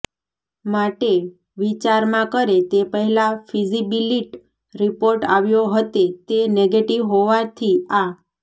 માટે વિચારમા કરે તે પહેલાં ફીજીબીલીીટ રિપોર્ટ આવ્યો હતે તે નેગેટિવ હોવાથી આ